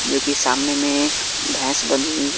जो कि सामने में एक भैंस बधी हुई है।